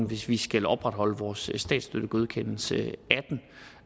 hvis vi skal opretholde vores statsstøttegodkendelse